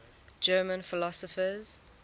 german philosophers